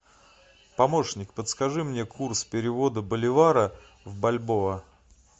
помощник подскажи мне курс перевода боливара в бальбоа